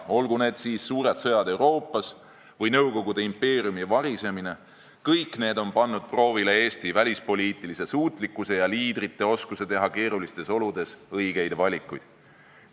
Olgu need siis suured sõjad Euroopas või Nõukogude impeeriumi varisemine – kõik need on pannud proovile Eesti välispoliitilise suutlikkuse ja liidrite oskuse teha keerulistes oludes õigeid valikuid.